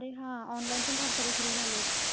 अरे हा. online पण फार सारे सुरु झाले आहेत.